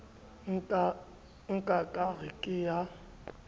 nka ka re ke a